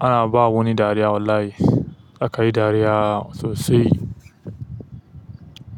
Ana ba wani dariya wallahi. Za ka yi dariya sosai.